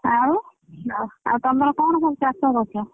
ଆଉ ଆଉ ତମର କଣ ସବୁ ଚାଷ କରିଛ?